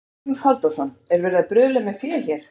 Magnús Halldórsson: Er verið að bruðla með fé hér?